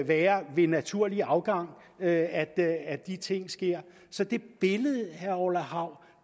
være ved naturlig afgang at at de ting sker så det billede herre orla hav